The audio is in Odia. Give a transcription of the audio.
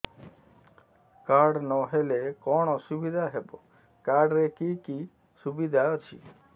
କାର୍ଡ ନହେଲେ କଣ ଅସୁବିଧା ହେବ କାର୍ଡ ରେ କି କି ସୁବିଧା ଅଛି